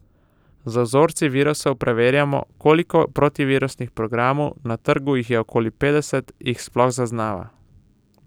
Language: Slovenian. Z vzorci virusov preverjamo, koliko protivirusnih programov, na trgu jih je okoli petdeset, jih sploh zaznava.